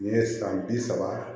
N ye san bi saba